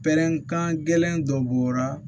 Pɛrɛn kan gɛlɛn dɔ bɔra